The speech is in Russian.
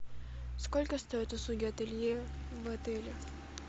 сколько стоят услуги ателье в отеле